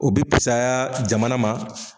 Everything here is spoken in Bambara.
O bɛ pusaya jamana ma.